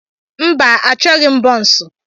Mba, Achọghị m bonsu.